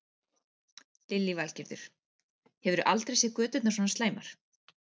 Lillý Valgerður: Hefurðu aldrei séð göturnar svona slæmar?